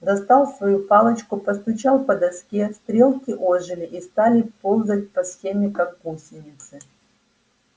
достал свою палочку постучал по доске стрелки ожили и стали ползать по схеме как гусеницы